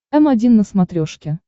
м один на смотрешке